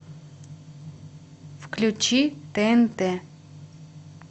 включи тнт